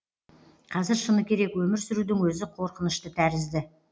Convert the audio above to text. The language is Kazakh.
қазір шыны керек өмір сүрудің өзі қорқынышты тәрізді